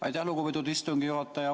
Aitäh, lugupeetud istungi juhataja!